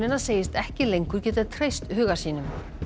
segist ekki lengur geta treyst huga sínum